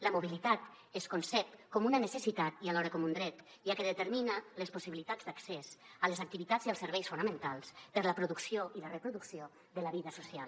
la mobilitat es concep com una necessitat i alhora com un dret ja que determina les possibilitats d’accés a les activitats i els serveis fonamentals per a la producció i la reproducció de la vida social